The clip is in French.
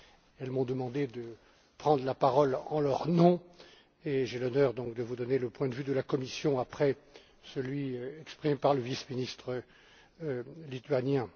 Elles m'ont demandé de prendre la parole en leur nom, et j'ai donc l'honneur de vous donner le point de vue de la Commission après celui exprimé par le vice ministre lituanien.